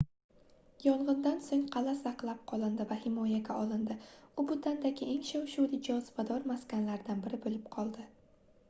yongʻindan soʻng qalʼa saqlab qolindi va himoyaga olindi u butandagi eng shov-shuvli jozibador maskanlaridan biri boʻlib qoldi